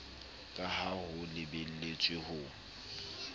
ka ha ho lebeletswe ho